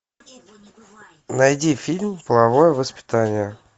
найди фильм половое воспитание